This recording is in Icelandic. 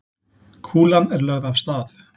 Kúlan er lögð af stað.